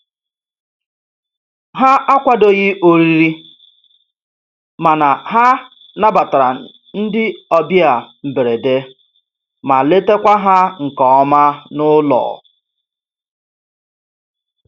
Ha akwadoghị oriri, mana ha nabatara ndị ọbịa mberede ma letakwa ha nke ọma n'ụlọ.